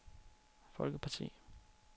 folkeparti